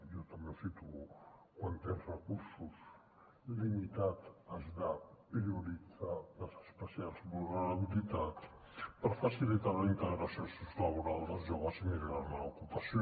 jo també ho situo quan tens recursos limitats has de prioritzar les especials vulnerabilitats per facilitar la integració sociolaboral dels joves i millorar ne l’ocupació